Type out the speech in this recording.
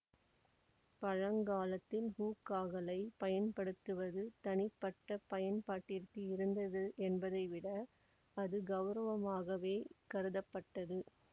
பழங்காலத்தில் ஹூக்காகளை பயன்படுத்துவது தனிப்பட்ட பயன்பாட்டிற்கு இருந்தது என்பதை விட அது கௌரவமாகவே கருதப்பட்டது